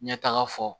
Ɲɛtaga fɔ